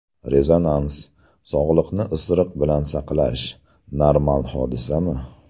Rezonans: Sog‘liqni isiriq bilan saqlash – normal hodisami?